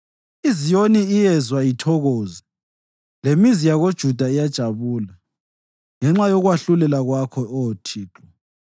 IZiyoni iyezwa ithokoze lemizi yakoJuda iyajabula ngenxa yokwahlulela Kwakho, Oh Thixo.